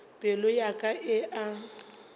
pelo ya ka e a